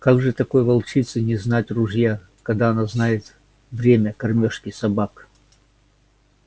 как же такой волчице не знать ружья когда она знает время кормёжки собак